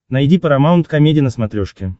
найди парамаунт комеди на смотрешке